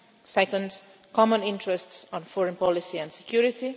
second, common interests on foreign policy and security